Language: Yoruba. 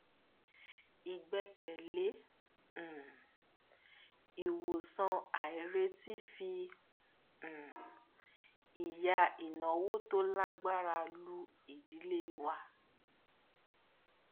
ìgbékalẹ um ìwòsàn àìrètí fi um ìyà ináwó tó lágbára lù idílé wa